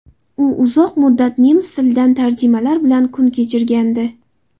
U uzoq muddat nemis tilidan tarjimalar bilan kun kechirgandi.